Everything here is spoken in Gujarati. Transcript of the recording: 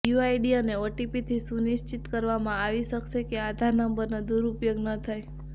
યુઆઇડી અને ઓટીપી થી સુનિશ્ચિત કરવામાં આવી શકશે કે આધાર નંબર નો દુરુપયોગ ન થાય